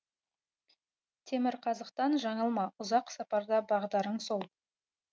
темірқазықтан жаңылма ұзақ сапарда бағдарың сол